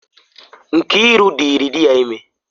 Nkiru dịrị di ya ime.